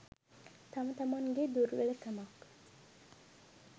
තම තමන්ගෙ දුර්වල කමක්.